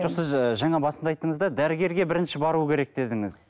жоқ сіз ы жаңа басында айттыңыз да дәрігерге бірінші бару керек дедіңіз